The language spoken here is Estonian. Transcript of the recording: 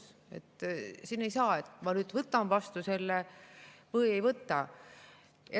Siin ei saa, et ma nüüd võtan selle vastu või ei võta.